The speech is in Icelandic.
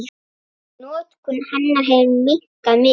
Notkun hennar hefur minnkað mikið.